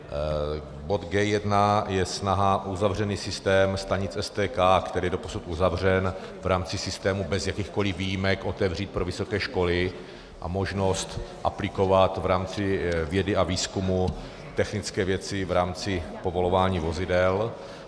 Bod G1 je snaha uzavřený systém stanic STK, který je doposud uzavřen v rámci systému bez jakýchkoli výjimek, otevřít pro vysoké školy a možnost aplikovat v rámci vědy a výzkumu technické věci v rámci povolování vozidel.